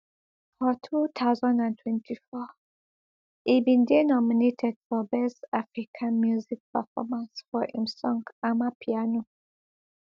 for two thousand and twenty-four e bin dey nominated for best african music performance for im song amapiano